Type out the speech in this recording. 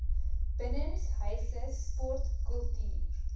binnenshuise sport kultuur